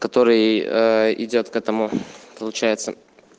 который идёт к этому получается